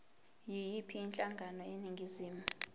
yiyiphi inhlangano eningizimu